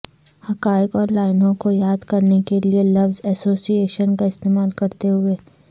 حقائق اور لائنوں کو یاد کرنے کے لئے لفظ ایسوسی ایشن کا استعمال کرتے ہوئے